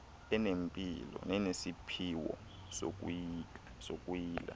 enempilo nenesiphiwo sokuyila